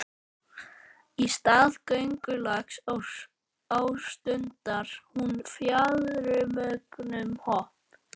Í stað göngulags ástundar hún fjaðurmögnuð hopp.